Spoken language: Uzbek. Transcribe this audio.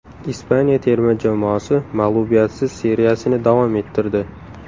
Ispaniya terma jamoasi mag‘lubiyatsiz seriyasini davom ettirdi.